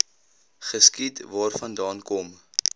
geskiet waarvandaan kom